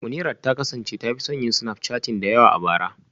Munirat ta kasance ta fi son yin snapchatting da yawa a bara